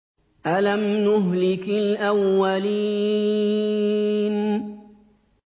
أَلَمْ نُهْلِكِ الْأَوَّلِينَ